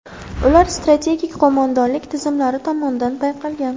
Ular strategik qo‘mondonlik tizimlari tomonidan payqalgan.